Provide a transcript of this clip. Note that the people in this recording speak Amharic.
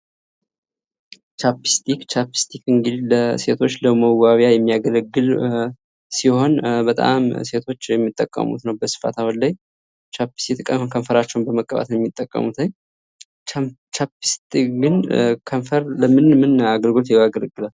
ቻፕስቲክ፦ ቻፕስቲክ እንግድህ ለሴቶች ለመዋቢያ የሚያገለግል ሲሆን በጣም ሴቶች የሚጠቀሙት ነው በስፋት አሁን ላይ ቻፕስቲክ ከንፈራቸውን ለመቀባት የሚጠቀሙት ቻፕስቲክ ግን ከንፈር ለምን ምን አገልግሎት ያገለግላል?